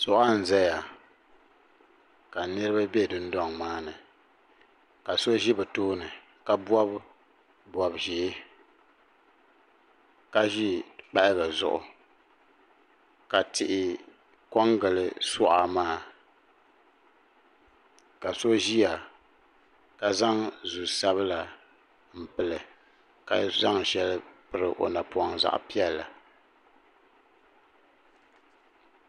Suɣa n zaya ka niriba be dundoŋ maani ka so ʒi bɛ tooni ka bobi bob'ʒee ka ʒi kpahaga zuɣu ka tihi kongili suɣa maa ka so ʒia ka zaŋ zu'sabila m pili ka zaŋ sheli piri o napoŋ zaɣa piɛlli.